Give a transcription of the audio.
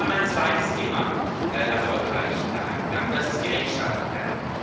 Und wir sind ein zweites Thema erfolgreich angegangen, das ist die Rechtsstaatlichkeit.